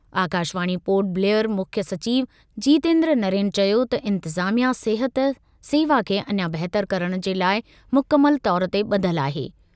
आकाशवाणी पोर्ट ब्लेयर मुख्य सचिव जीतेन्द्र नरेन चयो त इंतिज़ामिया सिहत सेवा खे अञा बहितर करणु जे लाइ मुकमल तौरु ते ब॒धलु आहे।